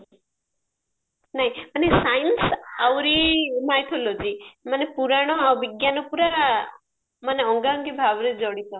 science ଆଉଋ mycology ମାନେ ପୁରାଣ ଆଉ ବିଜ୍ଞାନ ପୁରା ମାନେ ଅଙ୍ଗା ଅଙ୍ଗି ଭାବରେ ଜଡିତ